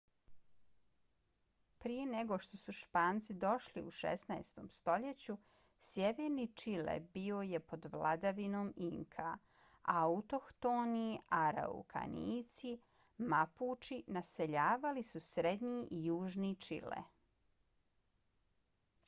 prije nego što su španci došli u 16. stoljeću sjeverni čile bio je pod vladavinom inka a autohtoni araukanijci mapuči naseljavali su srednji i južni čile